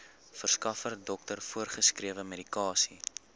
verskaffer dokter voorgeskrewemedikasie